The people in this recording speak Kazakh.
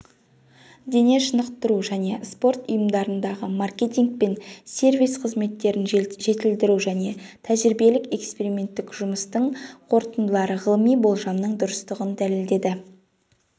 дене шынықтыру және спорт ұйымдарындағымаркетинг пен сервис қызметтерін жетілдіружәне тәжірибелік-эксперименттік жұмыстың қорытындылары ғылыми болжамның дұрыстығын дәлелдеді